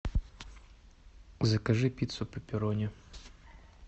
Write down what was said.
закажи пиццу пепперони